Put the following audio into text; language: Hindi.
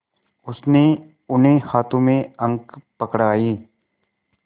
उसने उन्हें हाथों में अंक पकड़ाए